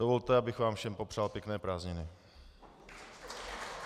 Dovolte, abych vám všem popřál pěkné prázdniny.